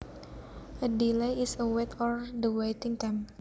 A delay is a wait or the waiting time